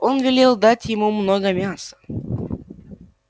он велел дать ему много мяса